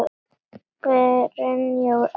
Brynjar og Elsa.